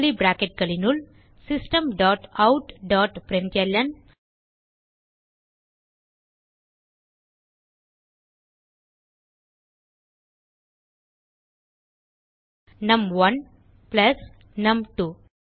curly bracketகளினுள் system dot out dot println நும்1 plus நும்2